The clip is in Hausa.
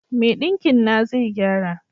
Mai dinkin na zai gyara.